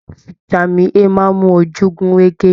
Fitami A máa n mú ojú gun rege.